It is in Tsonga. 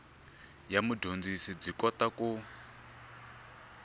ya mudyondzi byi kota ku